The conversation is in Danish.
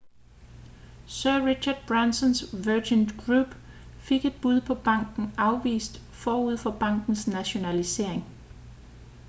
sir richard bransons virgin group fik et bud på banken afvist forud for bankens nationalisering